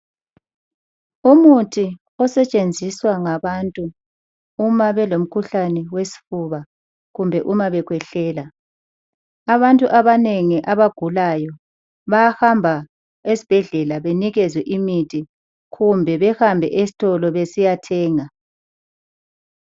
Umuthi osetshenziswa ngabantu uma belomkhuhlane wesfuba kumbe uma bekhwehlela, abantu abanengi abagulayo bayahamba esbhedlela benikezwe imithi khumbe behambe estolo besiyathenga.